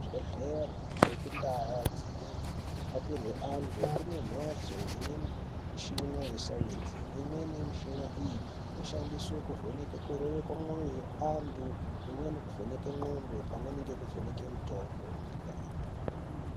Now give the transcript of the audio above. Kuzvibhedhlere nekuntaa dzinerapirwe antu ,kune mphatso ine mishina yesainzi. Imweni yemishina iyi inoshandiswe kuvheneke kurova kwemwoyo yeantu, imweni nekuvheneke ndxondo, pamweni nekuvheneke mitombo inopiwe antu.